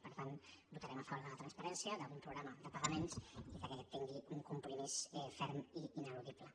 per tant votarem a favor de la transparència d’un programa de pagaments i que aquest tingui un compromís ferm i ineludible